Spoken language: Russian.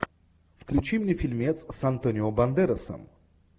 включи мне фильмец с антонио бандерасом